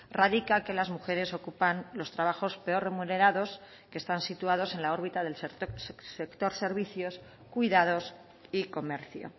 radica que las mujeres ocupan los trabajos peor remunerados que están situados en la órbita del sector servicios cuidados y comercio